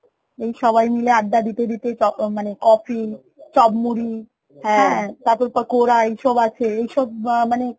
এই সবাই মিলে আড্ডা দিতে দিতে তখ~ মানে coffee, চপ মুড়ি তারপর পকোড়া এসব আছে এইসব মানে